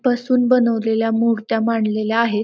पसून बनवलेल्या मुर्त्या मांडलेल्या आहे.